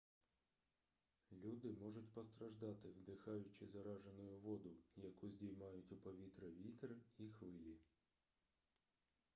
люди можуть постраждати вдихаючи заражену воду яку здіймають у повітря вітер і хвилі